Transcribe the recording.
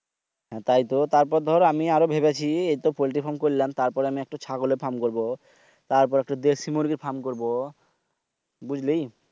হ্যাঁ তাই তো তারপর আমি আরও ভেবেছি এখনতো পল্টির ফার্ম করলাম একটু ছাগলের ফার্ম করবো। তারপর একটি দেশি মুরগীর ফার্ম করব। বুঝলি?